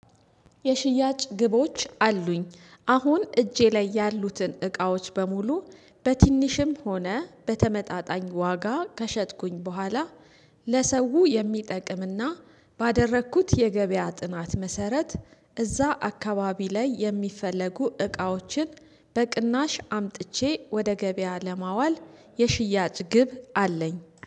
የሽያጭ ግቦች አሉኝ አሁን እጄ ላይ ያሉትን እቃዎች በሙሉ በትንሽም ሆነ በተመጣጣኝ ዋጋ ከሸጥኩኝ በኋላ። ለሰው የሚጠቅምና ባደረኩት የገበያ ጥናት መሰረት እዛ አካባቢ ላይ የሚፈለጉ እቃዎችን። በቅናሽ አምጥቼ ወደ ገበያ ለማዋል የሽያጭ ግብ አለኝ